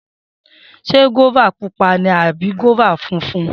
Se guaba pupa ni abi guaba funfun?